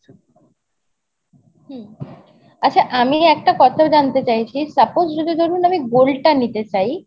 হম আচ্ছা আমি একটা কথা জানতে চাইছি suppose যদি ধরুন আমি gold টা নিতে চাই।